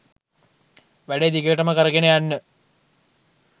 වැඩේ දිගටම කරගෙන යන්න